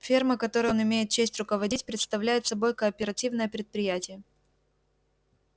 ферма которой он имеет честь руководить представляет собой кооперативное предприятие